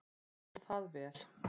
Og það vel.